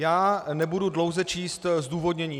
Já nebudu dlouze číst zdůvodnění.